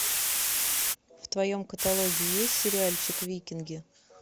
в твоем каталоге есть сериальчик викинги